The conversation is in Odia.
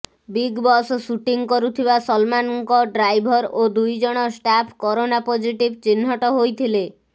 ବିଗ୍ ବସ୍ ସୁଟିଂ କରୁଥିବା ସଲମାନଙ୍କ ଡ୍ରାଇଭର ଓ ଦୁଇ ଜଣ ଷ୍ଟାଫ କରୋନା ପଜିଟିଭ୍ ଚିହ୍ନଟ ହୋଇଥିଲେ